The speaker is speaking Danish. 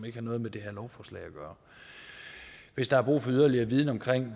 ikke noget med det her lovforslag at gøre hvis der er brug for yderligere viden om